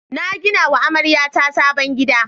Na gina wa amaryata sabon gida.